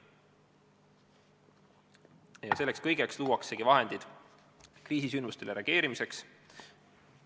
Ja selleks kõigeks luuakse ka vahendid kriisisündmustele reageerimiseks.